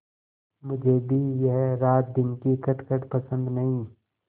मुझे भी यह रातदिन की खटखट पसंद नहीं